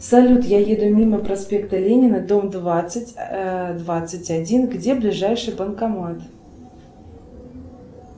салют я еду мимо проспекта ленина дом двадцать двадцать один где ближайший банкомат